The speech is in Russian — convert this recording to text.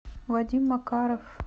вадим макаров